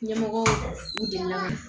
Ɲɛmɔgɔ delila